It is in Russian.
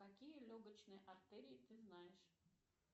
какие легочные артерии ты знаешь